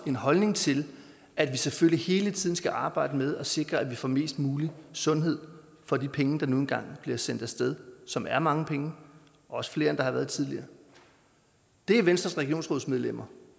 en holdning til at vi selvfølgelig hele tiden skal arbejde med at sikre at vi får mest mulig sundhed for de penge der nu engang bliver sendt af sted som er mange penge og også flere end der har været tidligere det er venstres regionsrådsmedlemmer